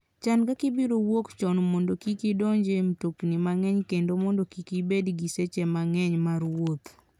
Chan kaka ibiro wuok chon mondo kik idonj e mtokni mang'eny kendo mondo kik ibed gi seche mang'eny mar wuoth.